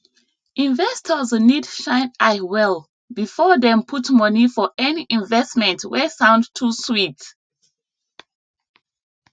investors need shine eye well before dem put money for any investment wey sound too sweet